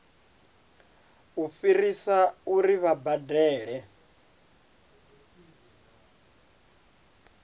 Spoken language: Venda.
u fhirisa uri vha badele